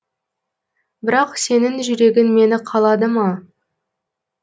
бірақ сенің жүрегің мені қалады ма